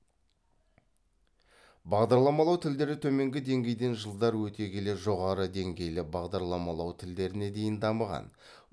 бағдарламалау тілдері төменгі деңгейден жылдар өте келе жоғарғы деңгейлі бағдарламалау тілдеріне дейін дамыған